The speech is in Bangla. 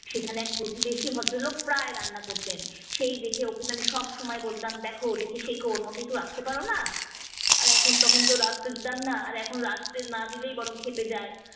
সেখানে এক প্রতিবেশী ভদ্রলোক প্রায় রান্না করতেন, সেই দেখে ওকে তো আমি সব সময় বলতাম দেখো দেখে শেখো, ওর মতো একটু রাঁধতে পারোনা। র এখন তখন তো আর এখন রাঁধতে না দিলেই বরং খেপে যায়।